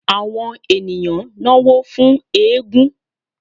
awọn eníyan nọwọ fún égún